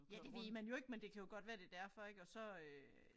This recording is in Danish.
Ja det ved man jo ikke men det kan jo godt være det derfor ik og så øh